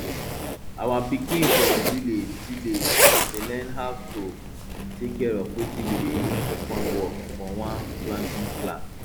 our pikin for village village dey learn how to take care of wetin we dey use for farm work for one planting class